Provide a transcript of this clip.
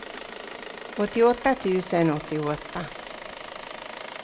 åttioåtta tusen åttioåtta